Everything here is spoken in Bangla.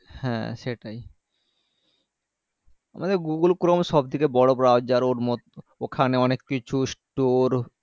হ্যাঁ সেটাই আমাদের google chrome থেকে বড়ো browser ওর মধ্য ওখানে অনেককিছু store